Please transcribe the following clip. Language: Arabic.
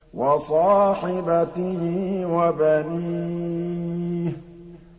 وَصَاحِبَتِهِ وَبَنِيهِ